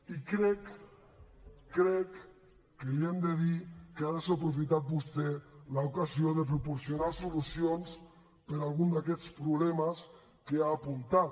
i crec crec que li hem de dir que ha desaprofitat vostè l’ocasió de proporcionar solucions per a algun d’aquests problemes que ha apuntat